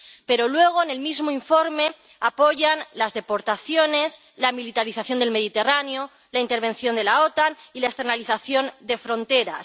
pero luego, en el mismo informe, apoyan las deportaciones, la militarización del Mediterráneo, la intervención de la OTAN y la externalización de fronteras.